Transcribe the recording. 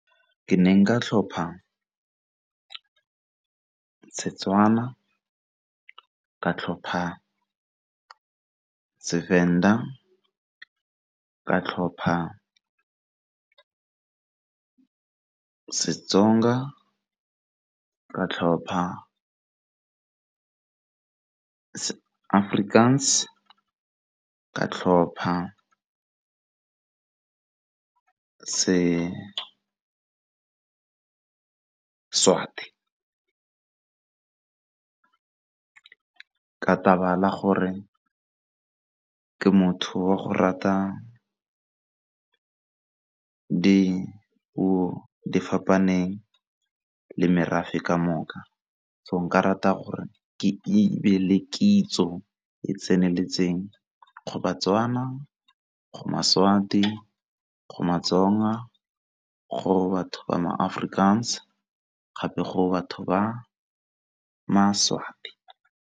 Ke ne nka tlhopha Setswana, ka tlhopha seVenda, ka tlhopha seTsonga, ka tlhopha Afrikaans, ka tlhopha seSwati. Ka taba la gore ke motho wa go rata dipuo fapaneng le merafe ka moka. So nka rata gore ke le kitso e tseneletseng go baTswana, go maSwabi go maTsonga ka go batho ba ma Afrikaans gape go batho ba maSwati.